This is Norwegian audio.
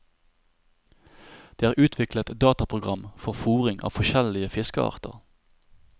Det er utviklet dataprogram for fôring av forskjellige fiskearter.